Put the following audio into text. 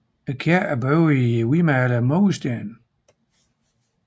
Kirken er bygget i hvidmalede mursten